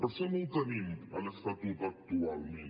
per això no ho tenim a l’estatut actualment